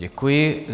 Děkuji.